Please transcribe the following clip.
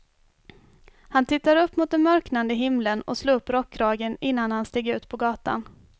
Han tittade upp mot den mörknande himlen och slog upp rockkragen innan han steg ut på gatan.